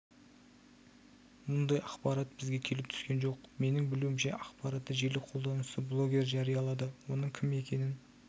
мұндай ақпарат бізге келіп түскен жоқ менің білуімше ақпаратты желі қолданушысы блогер жариялады оның кім екенін